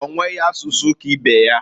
Onweghi asusu ka ibe ya.